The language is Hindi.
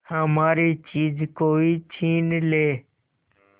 हमारी चीज कोई छीन ले